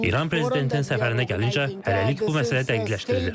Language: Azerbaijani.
İran prezidentinin səfərinə gəlincə, hələlik bu məsələ dəqiqləşdirilir.